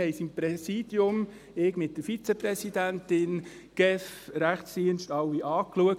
Wir haben das im Präsidium angeschaut, ich mit der Vizepräsidentin, die GEF, der Rechtsdienst, alle.